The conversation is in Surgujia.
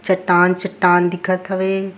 चट्टान-चट्टान दिखत हवे।